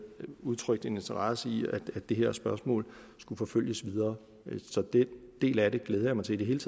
udtrykt en interesse i at det her spørgsmål skulle forfølges videre så den del af det glæder jeg mig til i det hele